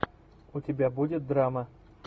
у тебя будет драма